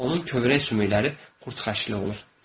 Onun kövrək sümükləri qurd xəşli olur.